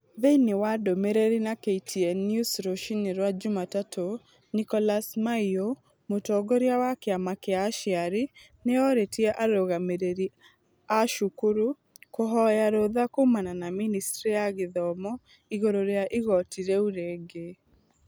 Thĩiniĩ wa ndumiriri na KTN News rũcinĩ rwa Jumatatu, Nicholas Maiyo, mũtongoria wa kĩama kĩa aciari ' nĩ orĩtie arũngamĩri a cukuru kũhoya rũtha kuumana na ministry ya gĩthomo igũrũ rĩa igoti rĩu rĩngĩ.